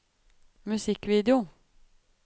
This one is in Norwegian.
musikkvideo